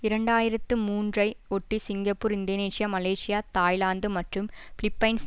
இரண்டு ஆயிரத்து மூன்றுஐ ஒட்டி சிங்கப்பூர் இந்தோனேசியா மலேசியா தாய்லாந்து மற்றும் பிலிப்பைன்ஸ்